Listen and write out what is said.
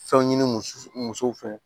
Fɛnw ɲini musow fɛ